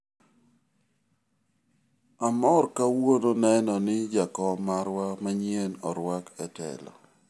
amoro kawuono neno ni jakom marwa manyien orwak e telo